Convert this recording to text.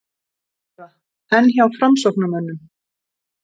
Þóra: En hjá framsóknarmönnum?